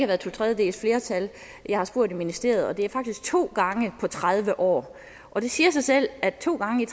været to tredjedeles flertal jeg har spurgt i ministeriet og det er faktisk to gange på tredive år og det siger sig selv at to gange